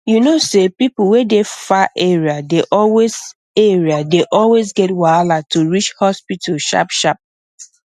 you know say people wey dey far area dey always area dey always get wahala to reach hospital sharp sharp